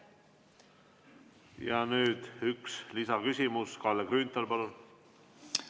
Nüüd üks lisaküsimus, Kalle Grünthal, palun!